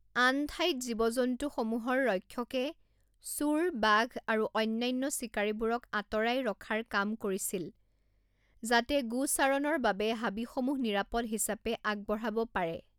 আন ঠাইত জীৱ জন্তুসমূহৰ ৰক্ষকে চোৰ বাঘ আৰু অন্যান্য চিকাৰীবোৰক আঁতৰাই ৰখাৰ কাম কৰিছিল যাতে গোচাৰণৰ বাবে হাবিসমূহক নিৰাপদ হিচাপে আগবঢ়াব পাৰে।